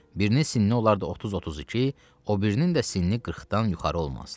Birinin sinni olar da 30-32, o birinin də sinni 40-dan yuxarı olmazdı.